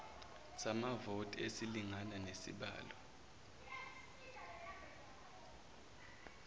samavoti esilingana nesibalo